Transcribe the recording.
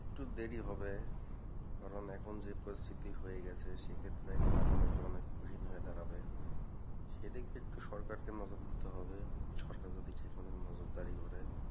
একটু দেরী হবে, কারণ এখন যে পরিস্থিতি হয়ে গেছে সেক্ষেত্রে এখন আগানোটা অনেক কঠিন হয়ে দাঁড়াবে সেদিকে একটু সরকারকে একটু নজর দিতে হবে, সরকার যদি বিশেষ কোন নজরদারি করে।